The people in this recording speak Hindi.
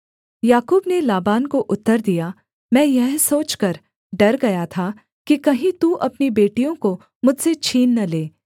याकूब ने लाबान को उत्तर दिया मैं यह सोचकर डर गया था कि कहीं तू अपनी बेटियों को मुझसे छीन न ले